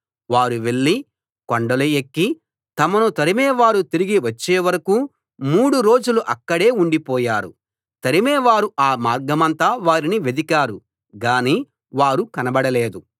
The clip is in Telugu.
వారు వెళ్లి కొండలు ఎక్కి తమను తరిమేవారు తిరిగి వచ్చేవరకూ మూడు రోజులు అక్కడే ఉండిపోయారు తరిమేవారు ఆ మార్గమంతా వారిని వెదికారు గానీ వారు కనబడలేదు